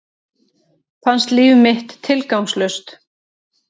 Fannst líf mitt tilgangslaust.